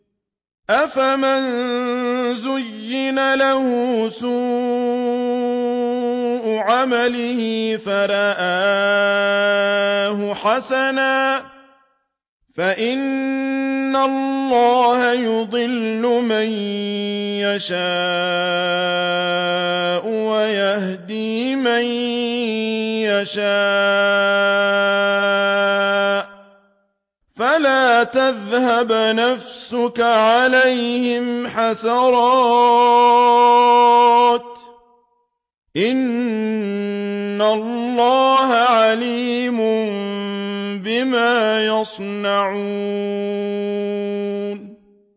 أَفَمَن زُيِّنَ لَهُ سُوءُ عَمَلِهِ فَرَآهُ حَسَنًا ۖ فَإِنَّ اللَّهَ يُضِلُّ مَن يَشَاءُ وَيَهْدِي مَن يَشَاءُ ۖ فَلَا تَذْهَبْ نَفْسُكَ عَلَيْهِمْ حَسَرَاتٍ ۚ إِنَّ اللَّهَ عَلِيمٌ بِمَا يَصْنَعُونَ